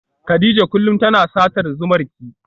Kadija kullum tana satar zumarki.